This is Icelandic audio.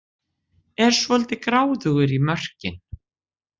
Er svolítið gráðugur í mörkin